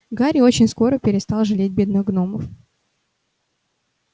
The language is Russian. гарри очень скоро перестал жалеть бедных гномов